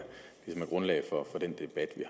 grundlaget for den debat vi